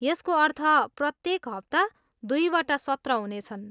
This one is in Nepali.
यसको अर्थ प्रत्येक हप्ता दुईवटा सत्र हुनेछन्।